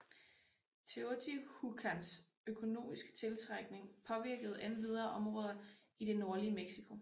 Teotihuacans økonomiske tiltrækning påvirkede endvidere områder i det nordlige Mexico